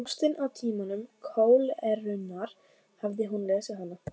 Ástin á tímum kólerunnar, hafði hún lesið hana?